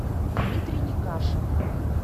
дмитрий некашев